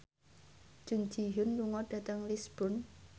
Jun Ji Hyun lunga dhateng Lisburn